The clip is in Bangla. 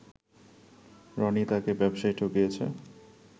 রনি তাকে ব্যবসায় ঠকিয়েছে